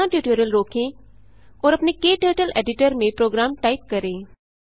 यहाँ ट्यूटोरियल रोकें और अपने क्टर्टल एडिटर में प्रोग्राम टाइप करें